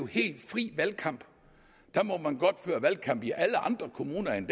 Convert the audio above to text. helt fri valgkamp der må man godt føre valgkamp i alle andre kommuner end